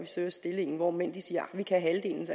søger stillingen hvor mænd siger